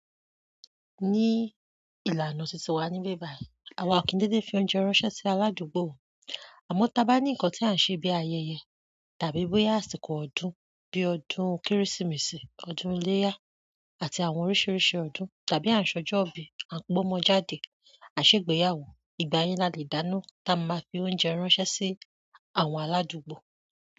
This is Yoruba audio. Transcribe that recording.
Ní ìlànà tuntun wa níbi bàì, àwa ò kí ń dédé fi oúnjẹ ránṣẹ́ sí aládùúgbò. Àmọ̀, tá bá ní ǹkan tí à ń ṣe bí ayẹyẹ tàbí bóyá àsìkò ọdún bí ọdún Kérésìmesì, ọdún iléyá àti àwọn oríṣiríṣi ọdún tàbí à ń ṣọjọ́ ìbí, à ń gbọ́mọ jáde, à n ṣègbéyàwó, ìgbà yẹn la lè dáná tá a máa fi oúnjẹ ránṣẹ́ sí àwọn aládùúgbò.